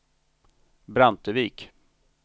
Brantevik